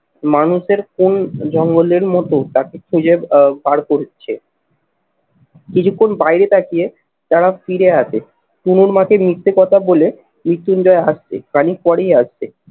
মানুষের কোন জঙ্গলের মতো তাকে খুঁজে আহ বার করছে কিছুক্ষণ বাইরে তাকিয়ে তারা ফিরে আসে। পুনর মাকে মিথ্যে কথা বলে মৃত্যুঞ্জয় হাসছে। খানিক পরেই আসছে